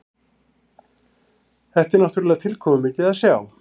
Þetta er náttúrulega tilkomumikið að sjá